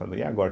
e agora?